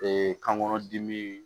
kan kɔnɔ dimi